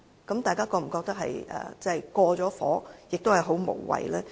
大家會否覺得這有點過火，亦很無謂呢？